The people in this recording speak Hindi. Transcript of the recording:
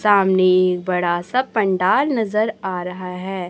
सामने बड़ा सा पंडाल नज़र आ रहा है।